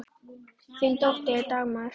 Þín dóttir, Dagmar.